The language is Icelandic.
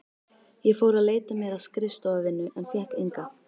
Ég fór að leita mér að skrifstofuvinnu en fékk enga.